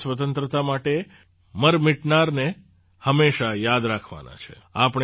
દેશની સ્વતંત્રતા માટે મરમીટનારને હંમેશાં યાદ રાખવાના છે